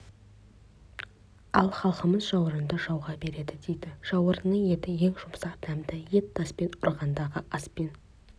ал халқымыз жауырынды жауға береді дейді жауырынның еті ең жұмсақ дәмді ет таспен ұрғанды аспен